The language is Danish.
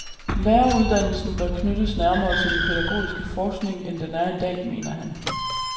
Læreruddannelsen bør knyttes nærmere til den pædagogiske forskning, end den er i dag, mener han.